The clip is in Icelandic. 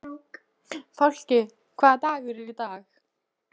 Fálki, hvaða dagur er í dag?